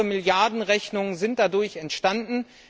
Weitere Milliardenrechnungen sind dadurch entstanden.